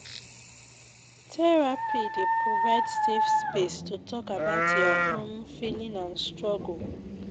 Therapy dey provide safe space to talk about your own feeling and struggle.